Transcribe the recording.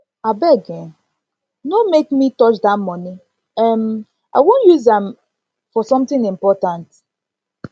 abeg um no make me no make me touch dat money um i wan use um am for something important